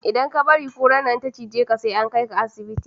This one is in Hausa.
Idan ka bari kurar nan ta cije ka, sai an kai ka asibiti.